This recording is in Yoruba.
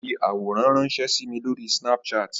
Ó fi àwòrán ránsẹ́ sí mi Lórí Snapchat